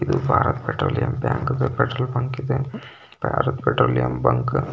ಇದು Bharat Petroleum bank petrol bunk ಇದೆ Bharat Petroleum bunk --